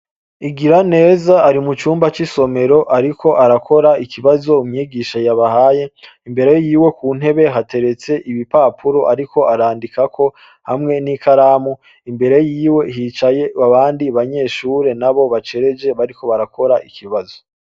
Igiraneza ari mu cumba c'isomero ariko arakora ikibazo umwigisha yabahaye. Imbere yiwe ku ntebe hateretse ibipapuro ariko arandikako hamwe n'ikaramu. Imbere yiwe hicaye abandi banyeshure nabo bacereje bariko barakora ikibazo.